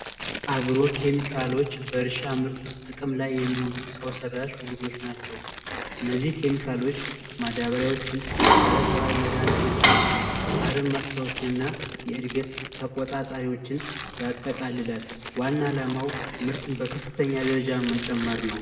አግሮ ኬሚካሎች በእርሻ ምርት ላይ ጥቅም ላይ የሚውሉ ውህዶች ናቸው እነዚህ ኬሚካሎች ማዳበሪያዎችን፤ ፀረ መድሀኒቶችንና አረም ማጥፊያዎችን የእድገት ተቆጣጣሪዎችን ያጠቃልላል። ይህም ዓላማው ምርትን በከፍተኛ ደረጃ መጨመር ነው።